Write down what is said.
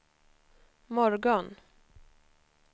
morgon